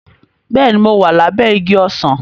Bẹ́ẹ̀ni, mo wà lábẹ́ igi ọsàn